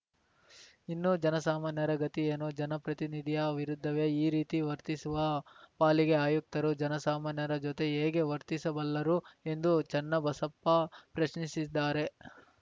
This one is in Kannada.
ಇನ್ನೂ ಜನಸಾಮಾನ್ಯರ ಗತಿ ಏನು ಜನಪ್ರತಿನಿಧಿಯ ವಿರುದ್ಧವೇ ಈ ರೀತಿ ವರ್ತಿಸುವ ಪಾಲಿಕೆ ಆಯುಕ್ತರು ಜನಸಾಮಾನ್ಯರ ಜೊತೆ ಹೇಗೆ ವರ್ತಿಸಬಲ್ಲರು ಎಂದು ಚನ್ನಬಸಪ್ಪ ಪ್ರಶ್ನಿಸಿದ್ದಾರೆ